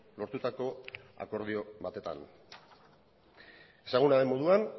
lortutako akordio batetan ezaguna den moduan